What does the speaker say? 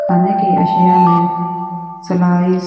खाने के अशिया मे स्लाइस --